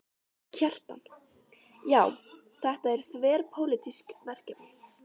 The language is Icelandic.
Kjartan: Já, þetta er þverpólitískt verkefni?